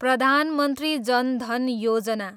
Pradhan Mantri Jan Dhan Yojana